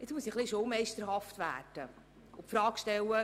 Nun muss ich etwas schulmeisterlich die Frage stellen: